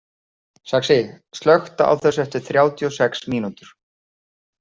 Saxi, slökktu á þessu eftir þrjátíu og sex mínútur.